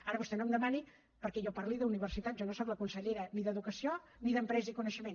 ara vostè no em demani perquè jo parli d’universitat jo no sóc la consellera ni d’educació ni d’empresa i coneixement